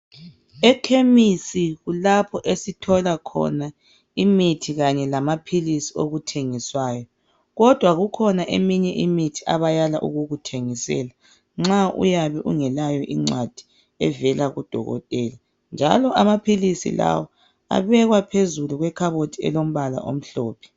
Ekhemisi kulapho esithola khona imithi kanye lamaphilisi okuthengiswayo kodwa kukhona eminye imithi abayala ukukuthengisela. Nxa uyabe ungelayo ingcwadi evela kudokotela. Njalo amaphilisi lawa abekwa phezulu kwekhabothi elombala omhlophe.